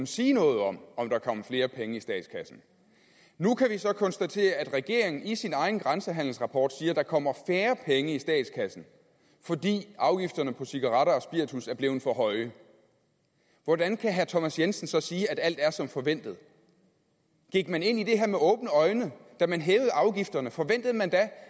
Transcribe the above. sige noget om om der kom flere penge i statskassen nu kan vi så konstatere at regeringen i sin egen grænsehandelsrapport siger at der kommer færre penge i statskassen fordi afgifterne på cigaretter og spiritus er blevet for høje hvordan kan herre thomas jensen så sige at alt er som forventet gik man ind i det her med åbne øjne da man hævede afgifterne forventede man da